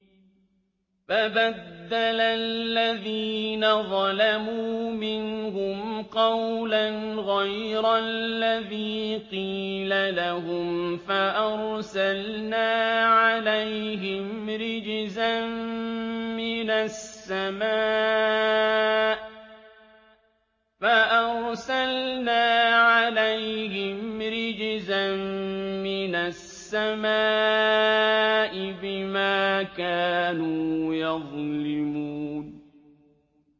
فَبَدَّلَ الَّذِينَ ظَلَمُوا مِنْهُمْ قَوْلًا غَيْرَ الَّذِي قِيلَ لَهُمْ فَأَرْسَلْنَا عَلَيْهِمْ رِجْزًا مِّنَ السَّمَاءِ بِمَا كَانُوا يَظْلِمُونَ